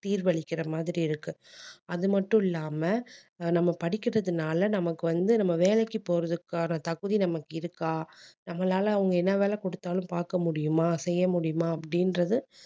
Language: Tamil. தீர்வளிக்கிற மாதிரி இருக்கு அது மட்டும் இல்லாம அஹ் நம்ம படிக்கிறதுனால நமக்கு வந்து நம்ம வேலைக்கு போறதுக்கான தகுதி நமக்கு இருக்கா நம்மளால அவங்க என்ன வேலை கொடுத்தாலும் பார்க்க முடியுமா செய்ய முடியுமா அப்படின்றது